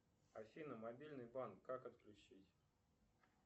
афина мобильный банк как отключить